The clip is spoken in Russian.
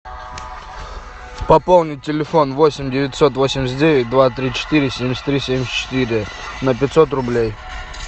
пополнить телефон восемь девятьсот восемьдесят девять два три четыре семьдесят три семьдесят четыре на пятьсот рублей